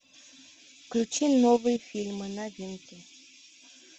включи новые фильмы новинки